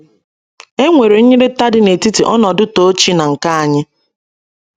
È nwere nyirịta dị n’etiti ọnọdụ tochi na nke anyị?